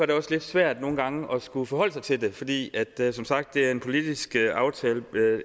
det også lidt svært nogle gange at skulle forholde sig til det fordi det som sagt er en politisk aftale